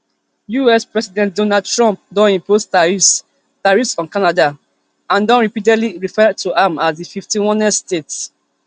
us president donald trump don impose tariffs tariffs on canada and don repeatedly refer to am as di fifty-onest state